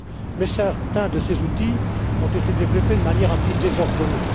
Mais certains de ces outils ont été développés de manière un peu désordonnée.